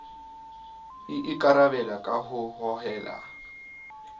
e ikarabela ka ho hohela